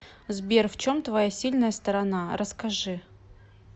сбер в чем твоя сильная сторона расскажи